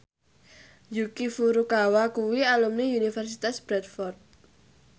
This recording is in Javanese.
Yuki Furukawa kuwi alumni Universitas Bradford